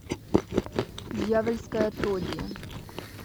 дьявольское отродье